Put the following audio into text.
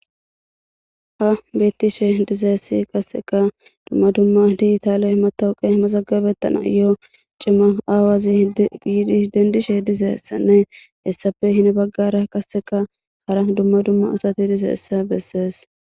ha bettishe dizeessi kasseka dumma dumma diitaale matowuqe masagabettana yoo cimma aawazi giidis dendishe dizessanne hessafe hin baggara kasseka hara dumma dumma asati dizessa bessees